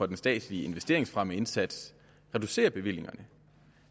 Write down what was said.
den statslige investeringsfremmeindsats reducerer bevillingerne